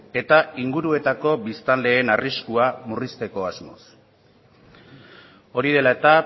eta inguruetako biztanleen arriskua murrizteko asmoz hori dela eta